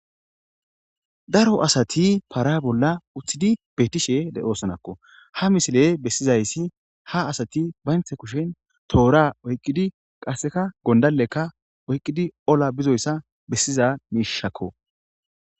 daro asati paara bolla uththidi beetishe le7oosonakko ha misile bessizayssi ha asati baynthe kushen toora oyqqidi qasseka gondalekka oyqqidi ola bizoyssa bessiza miishakko